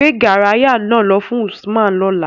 Gbe garaya naa lọ fun Usman lọla!